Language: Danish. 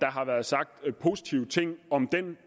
har været sagt positive ting om den